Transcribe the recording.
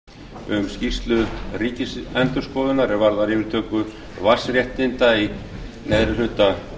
vegna fyrirspurna frá háttvirtur sjötti þingmaður suðvesturkjördæmis ögmundi jónassyni um skýrslu ríkisendurskoðunar er varðar yfirtöku vatnsréttinda í neðri hluta